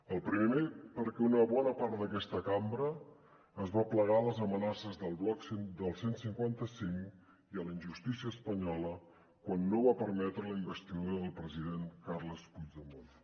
el primer perquè una bona part d’aquesta cambra es va plegar a les amenaces del bloc del cent i cinquanta cinc i a la injustícia espanyola quan no va permetre la investidura del president carles puigdemont